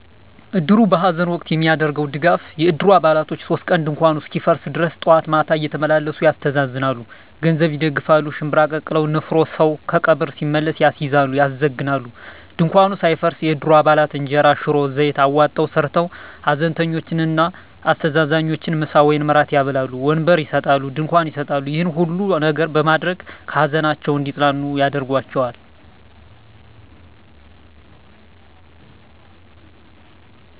እድሩ በሐዘን ወቅት የሚያደርገዉ ድጋፍ የእድሩ አባላቶች 3 ቀን ድንኳኑ እስኪፈርስ ድረስ ጠዋት ማታ እየተመላለሱ ያስተዛዝናሉ። ገንዘብ ይደግፋል፣ ሽንብራ ቀቅለዉ (ንፍሮ) ሰዉ ከቀብር ሲመለስ ያስይዛሉ(ያዘግናሉ) ፣ ድንኳኑ ሳይፈርስ የእድሩ አባላት እንጀራ፣ ሽሮ፣ ዘይት አዋጠዉ ሰርተዉ ሀዘንተኞችን እና አስተዛዛኞችን ምሳ ወይም እራት ያበላሉ። ወንበር ይሰጣሉ፣ ድንኳን ይሰጣሉ ይሄን ሁሉ ነገር በማድረግ ከሀዘናቸዉ እንዲፅናኑ ያደርጓቸዋል።